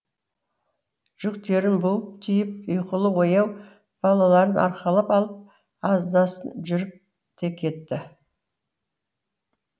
жүктерін буып түйіп ұйқылы ояу балаларын арқалап алып аздасын жүріп те кетті